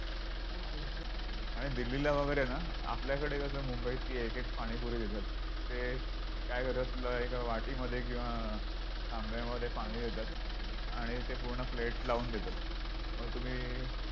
आणि दिल्लीला वगैरे आहे ना आपल्याकडे कसं मुंबईत ती एक एक पाणीपुरी देतात ते काय करतात एका वाटीमध्ये किंवा तांब्यामध्ये पाणी देतात आणि ते पूर्ण plate लावून देतात मग तुम्ही